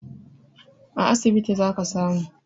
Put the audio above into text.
A asibiti zaka samu